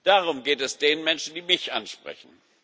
Darum geht es den Menschen, die mich ansprechen.